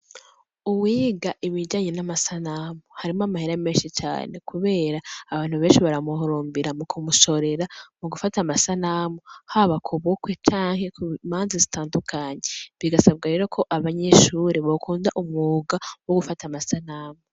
Uwiga ibijanyi n'amasanamu harimo amahera menshi cane, kubera abantu benshi baramuhurumbira mu kumushorera mu gufata amasanamu haba ku bukwe canke ku imanzi zitandukanyi bigasabwa rero ko abanyishuri bokunda umwuga wo gufata amasanamu.